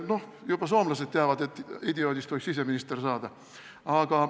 Noh, juba soomlased teavad, et idioodist võib siseminister saada.